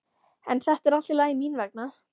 En þetta er allt í lagi mín vegna.